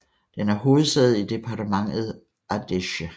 Den er hovedsæde i departementet Ardèche